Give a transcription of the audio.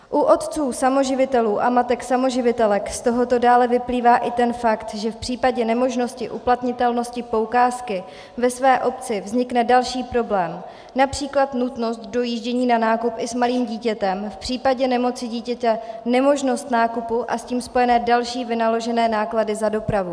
U otců samoživitelů a matek samoživitelek z tohoto dále vyplývá i ten fakt, že v případě nemožnosti uplatnitelnosti poukázky ve své obci vznikne další problém, například nutnost dojíždění na nákup i s malým dítětem, v případě nemoci dítěte nemožnost nákupu a s tím spojené další vynaložené náklady za dopravu.